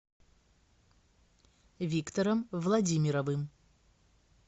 виктором владимировым